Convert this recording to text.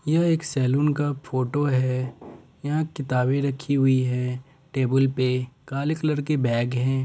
यह एक सैलून का फोटो है यहां किताबे रखी हुई है। टेबुल पे काले कलर के बैग है।